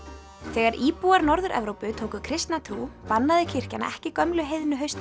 þegar íbúar Norður Evrópu tóku kristna trú bannaði kirkjan ekki gömlu